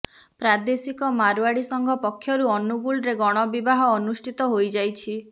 ପ୍ରାଦେଶିକ ମାରଓ୍ୱାଡ଼ି ସଂଘ ପକ୍ଷରୁ ଅନୁଗୁଳରେ ଗଣବିବାହ ଅନୁଷ୍ଠିତ ହୋଇ ଯାଇଛି